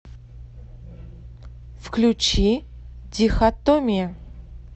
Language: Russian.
включи дихотомия